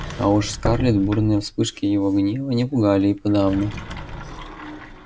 а уж скарлетт бурные вспышки его гнева не пугали и подавно